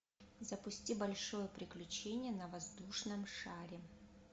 запусти большое приключение на воздушном шаре